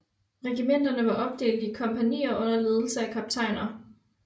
Regimenterne var opdelte i kompagnier under ledelse af kaptajner